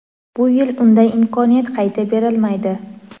Bu yil unday imkoniyat qayta berilmaydi.